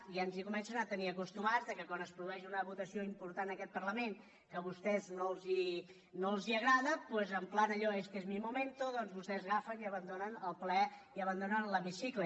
ja ens hi comencen a tenir acostumats que quan es produeix una votació important en aquest parlament que a vostès no els agrada doncs en pla allò éste es mi momento doncs vostès agafen i abandonen el ple i abandonen l’hemicicle